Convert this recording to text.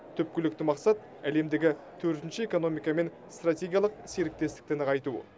түпкілікті мақсат әлемдегі төртінші экономикамен стратегиялық серіктестікті нығайту